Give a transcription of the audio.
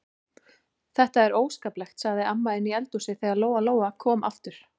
Þetta er óskaplegt, sagði amma inni í eldhúsi þegar Lóa-Lóa kom aftur.